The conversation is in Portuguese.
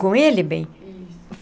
Com ele, bem? Isso.